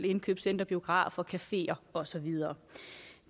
indkøbscentre biografer cafeer og så videre